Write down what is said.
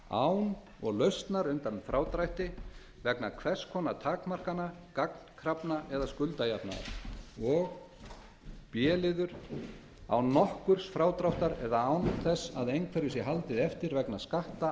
án og lausar undan frádrætti vegna hvers konar takmarkana gagnkrafna eða skuldajöfnunar og án nokkurs frádráttar eða án þess að einhverju sé haldið eftir vegna skatta